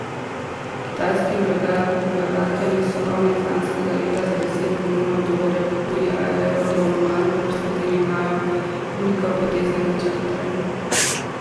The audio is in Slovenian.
Kitajski vlagatelji so konec lanskega leta za deset milijonov dolarjev kupili Aerodrom Maribor, s katerim imajo velikopotezne načrte.